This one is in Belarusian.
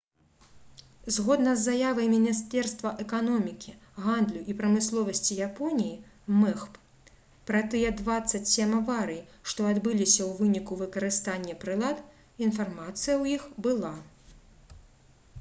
згодна з заявай міністэрства эканомікі гандлю і прамысловасці японіі мэгп пра тыя 27 аварый што адбыліся ў выніку выкарыстання прылад інфармацыя ў іх была